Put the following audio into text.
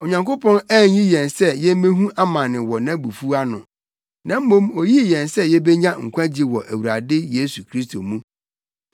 Onyankopɔn anyi yɛn sɛ yemmehu amane wɔ nʼabufuw ano, na mmom oyii yɛn sɛ yebenya nkwagye wɔ Awurade Yesu Kristo mu.